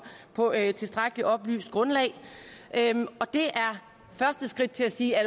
på et tilstrækkelig oplyst grundlag og det er første skridt til at sige er